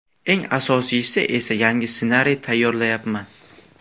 Eng asosiysi esa yangi ssenariy tayyorlayapman.